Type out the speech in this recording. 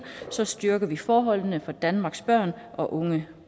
styrker vi forholdene for danmarks børn og unge